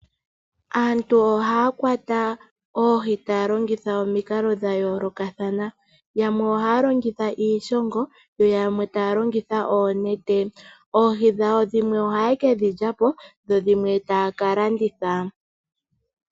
Aantu ohaa kwata oohi taa longitha omikalo dha yoolokathana. Yamwe ohaa longitha iishongo, yo yamwe taa longitha oonete.